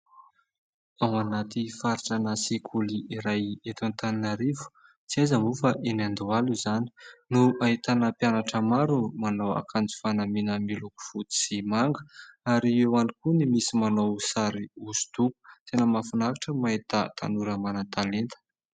Ao anaty faritra ny sekoly iray eto Antananarivo tsy aiza moa fa eny Andohalo izany no ahitana mpianatra maro manao ankanjo fanamina miloko fotsy sy manga ary eo andro koa ny misy manao sary oso-doho tena mafinaritra mahita tanora manan-talenta